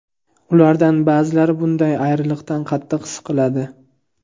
Ulardan ba’zilari bunday ayriliqdan qattiq siqiladi.